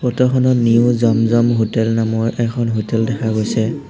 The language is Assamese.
ফটোখনত নিউ জম জম হোটেল নামৰ হোটেল দেখা গৈছে।